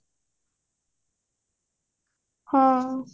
ହଁ